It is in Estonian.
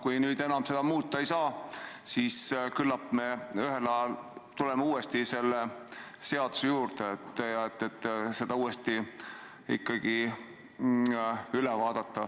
Kui nüüd seda enam muuta ei saa, siis küllap me ühel päeval tuleme selle seaduse juurde tagasi ja vaatame selle uuesti üle.